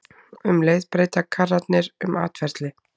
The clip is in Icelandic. Um leið breyta karrarnir um atferli.